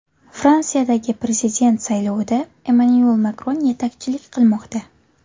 Fransiyadagi prezident saylovida Emmanyuel Makron yetakchilik qilmoqda.